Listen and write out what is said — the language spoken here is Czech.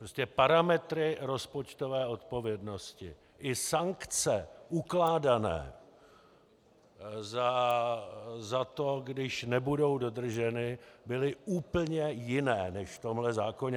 Prostě parametry rozpočtové odpovědnosti i sankce ukládané za to, když nebudou dodrženy, byly úplně jiné než v tomhle zákoně.